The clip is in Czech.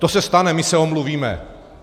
To se stane, my se omluvíme.